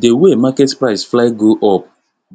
d way market price fly go up